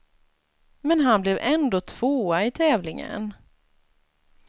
Men han blev ändå tvåa i tävlingen.